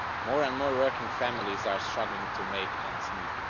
More and more working families are struggling to make ends meet.